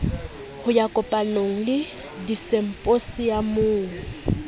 ho ya dikopanong le disimphosiamong